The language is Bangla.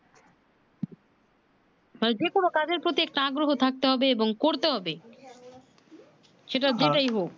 তাই যে কোন কাজের প্রতি একটা আগ্রহ থাকতে হবে এবং করতে হবে সেটা যেটাই হোক